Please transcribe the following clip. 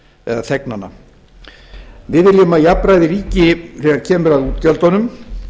eða þegnana við viljum að jafnræði ríki þegar kemur að útgjöldunum